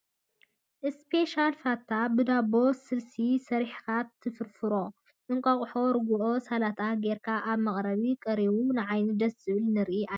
እስፔሻል ፋታ ብ ዳቦ ስልሲ ሰሪሕካ ትፍርፍሮሞ ፣ እንቋቁሖ፣ ርጉኦ፣ ሰላጣን ጌርካ ኣብ መቅረቢ ቀሪቡ ንዓይኒ ደስ ዝብል ንርኢ ኣለና ።